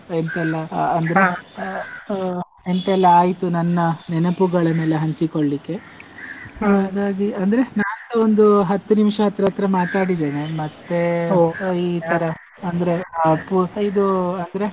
ಎಂತ ಎಲ್ಲಾ ಆ ಎಂತ ಎಲ್ಲಾ ಆಯ್ತು ನನ್ನ ನೆನಪುಗಳನ್ನೆಲ್ಲ ಹಂಚಿಕೊಳ್ಳಿಕೆ, ಅಂದ್ರೆ ನನ್ಸ ಒಂದು ಹತ್ತು ನಿಮಿಷ ಹತ್~ ಹತ್ರ ಮಾತಾಡಿದೇನೆ ಮತ್ತೆ ಅಂದ್ರೆ ಆ ಇದು ಅಂದ್ರೆ.